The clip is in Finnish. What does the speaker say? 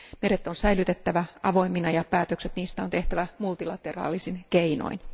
Meret on säilytettävä avoimina ja päätökset niistä on tehtävä multilateraalisin keinoin.